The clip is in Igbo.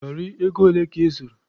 Gari ego ole ka ị zụrụ?